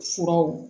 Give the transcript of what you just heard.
Furaw